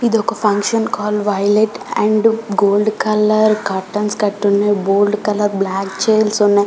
ఇదొక function hall violet and gold colour curtains కట్టి ఉన్నాయి గోల్డ్ కలర్ బ్లాక్ చైర్స్ ఉన్నాయి.